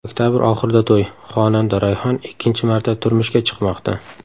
Oktabr oxirida to‘y: Xonanda Rayhon ikkinchi marta turmushga chiqmoqda.